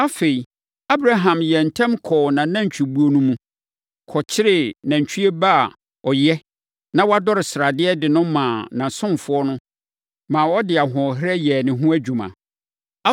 Afei, Abraham yɛɛ ntɛm kɔɔ nʼanantwibuo no mu, kɔkyeree nantwie ba a ɔyɛ na wadɔre sradeɛ de no maa ne ɔsomfoɔ, ma ɔde ahoɔherɛ yɛɛ ne ho adwuma.